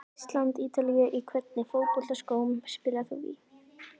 Ísland- Ítalía Í hvernig fótboltaskóm spilar þú?